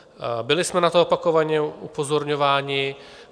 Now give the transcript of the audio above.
Byli jsme na to opakovaně upozorňováni.